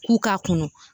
K'u k'a kɔnɔ